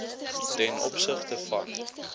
ten opsigte van